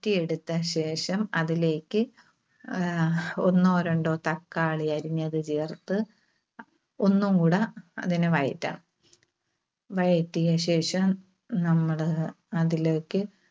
T എടുത്ത ശേഷം അതിലേക്ക് ആഹ് ഒന്നോ രണ്ടോ തക്കാളി അരിഞ്ഞത് ചേർത്ത് ഒന്നുകൂടെ അതിനെ വഴറ്റണം. വഴറ്റിയ ശേഷം നമ്മള് അതിലേക്ക്